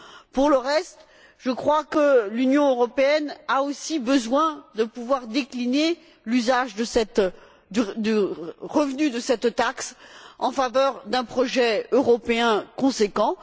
Pour le reste, je crois que l'Union européenne a aussi besoin de pouvoir décliner l'usage du revenu de cette taxe en faveur d'un projet européen conséquent.